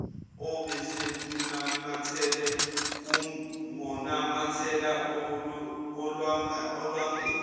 obeselunamathele ungonamathela olwangeni